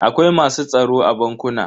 Akwai masu tsaro a bankuna.